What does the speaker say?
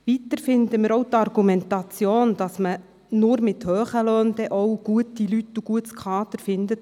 Weiter halten wir auch die Argumentation für bedenklich, wonach man nur mit hohen Löhnen gute Leute und gutes Kader finde.